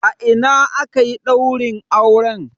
A ina akayi daurin auren?